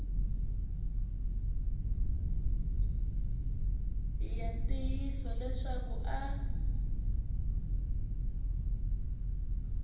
hi ya ntiyiso leswaku a